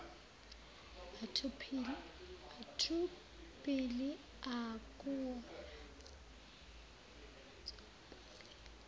batho pele akuwona